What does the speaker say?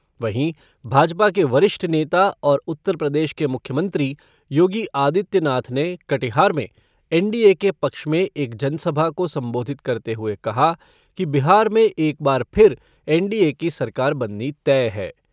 वहीं, भाजपा के वरिष्ठ नेता और उत्तर प्रदेश के मुख्यमंत्री योगी आदित्यनाथ ने कटिहार में एनडीए के पक्ष में एक जनसभा को संबोधित करते हुए कहा कि बिहार में एक बार फिर एनडीए की सरकार बननी तय है।